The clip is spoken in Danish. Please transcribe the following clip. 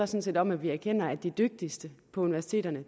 set om at vi erkender at de dygtigste på universiteterne